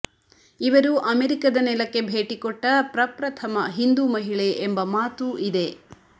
ಇವರು ಅಮೆರಿಕದ ನೆಲಕ್ಕೆ ಭೇಟಿ ಕೊಟ್ಟ ಪ್ರಪ್ರಥಮ ಹಿಂದೂ ಮಹಿಳೆ ಎಂಬ ಮಾತೂ ಇದೆ